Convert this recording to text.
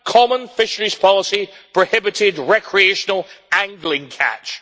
Common fisheries policy prohibited recreational angling catch'.